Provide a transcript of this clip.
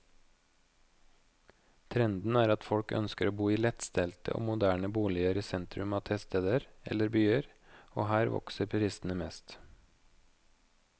Trenden er at folk ønsker å bo i lettstelte og moderne boliger i sentrum av tettsteder eller byer, og her vokser prisene mest.